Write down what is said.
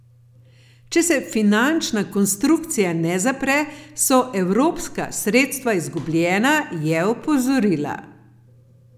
Če se finančna konstrukcija ne zapre, so evropska sredstva izgubljena, je opozorila.